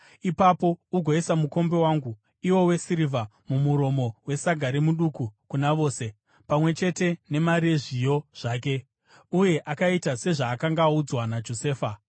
Ipapo ugoisa mukombe wangu, iwo wesirivha, mumuromo wesaga remuduku kuna vose, pamwe chete nemari yezviyo zvake.” Uye akaita sezvaakanga audzwa naJosefa.